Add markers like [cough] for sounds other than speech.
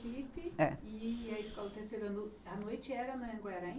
[unintelligible] É. E a escola terceira ano a noite era no Anhanguera?